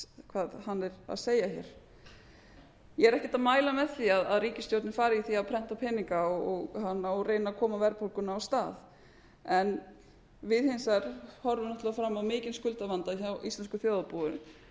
hvað hann er að segja hér ég er ekkert að mæla með því að ríkisstjórnin fari í það að prenta peninga og reyna að koma verðbólgunni af stað en við hins vegar horfum fram á mikinn skuldavanda hjá íslensku þjóðarbúinu